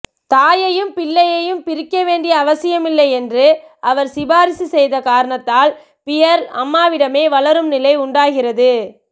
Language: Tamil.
தாயையும் பிள்ளையும் பிரிக்க வேண்டிய அவசியமில்லை என்று அவர் சிபாரிசு செய்த காரணத்தால் பியர்ல் அம்மாவிடமே வளரும் நிலை உண்டாகிறது